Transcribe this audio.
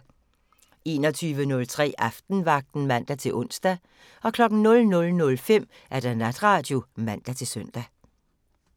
21:03: Aftenvagten (man-ons) 00:05: Natradio (man-søn)